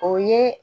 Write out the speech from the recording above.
O ye